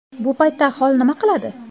Bu paytda aholi nima qiladi?